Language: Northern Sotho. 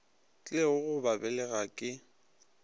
tlilego go ba belega ke